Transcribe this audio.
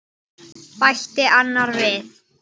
bætti annar við.